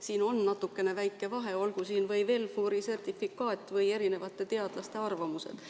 Siin on väike vahe, olgu siin WelFuri sertifikaat või erinevate teadlaste arvamused.